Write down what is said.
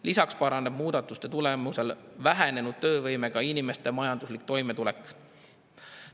Lisaks paraneb muudatuste tulemusel vähenenud töövõimega inimeste majanduslik toimetulek.